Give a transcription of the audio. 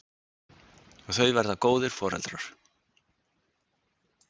Og þau verða góðir foreldrar.